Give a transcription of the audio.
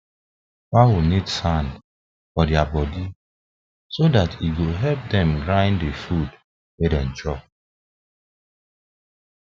fowl need sands for their body so that e go help them grind the food wa them chop